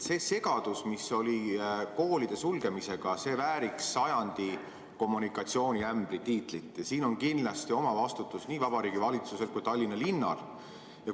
See segadus, mis oli koolide sulgemisega, vääriks sajandi kommunikatsiooniämbri tiitlit ja siin on kindlasti oma vastutus nii Vabariigi Valitsusel kui ka Tallinna linnal.